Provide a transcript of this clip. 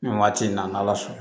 Nin waati in na n'ala sɔnna